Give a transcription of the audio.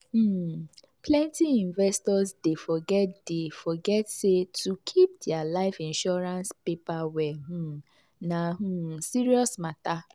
um plenty investors dey forget dey forget say to keep their life insurance paper well um na um serious matter.